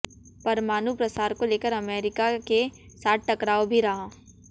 परमाणु प्रसार को लेकर अमेरिका के साथ टकराव भी रहा